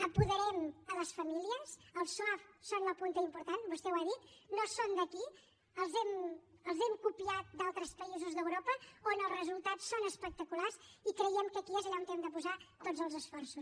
apoderem les famílies els soaf són la punta important vostè ho ha dit no són d’aquí els hem copiat d’altres països d’europa on els resultats són espectaculars i creiem que aquí és allà on hem de posar tots els esforços